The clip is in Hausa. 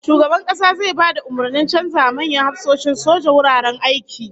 Shugaban Kasa zai ba da umurnin canzawa manyan hafsoshin soja wuraren aiki